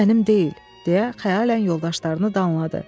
Bu mənim deyil, deyə xəyalən yoldaşlarını danladı.